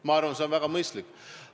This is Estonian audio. Ma arvan, et see on väga mõistlik.